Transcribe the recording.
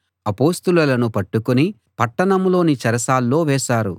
అపొస్తలులను పట్టుకుని పట్టణంలోని చెరసాల్లో వేశారు